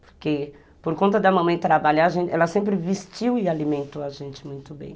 Porque, por conta da mamãe trabalhar, ela sempre vestiu e alimentou a gente muito bem.